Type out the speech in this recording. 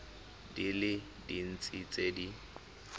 di le dintsi tse di